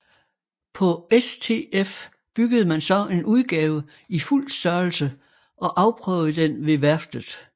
På STF byggede man så en udgave i fuld størrelse og afprøvede den ved værftet